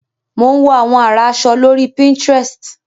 Mò ń wo àwọn àrà aṣọ lórí pinterest.